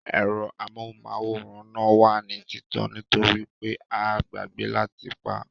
Ẹ̀rọ amóhùnmáwòrán náà wà ní títàn nítorípé a gbàgbẹ́ láti pá